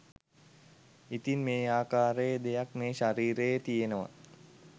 ඉතින් මේ ආකාරයේ දෙයක් මේ ශරීරයේ තියෙනවා